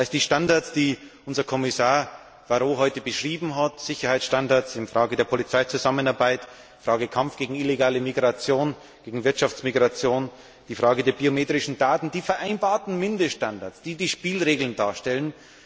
Das heißt, die Standards, die unser Kommissar Barrot heute beschrieben hat also Sicherheitsstandards bei der Polizeizusammenarbeit, beim Kampf gegen illegale Migration und Wirtschaftsmigration, bei den biometrischen Daten sind die vereinbarten Mindeststandards, die die Spielregeln darstellen.